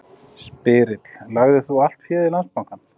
Spyrill: Lagðir þú allt féð í Landsbankann?